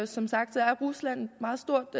som sagt er rusland et meget stort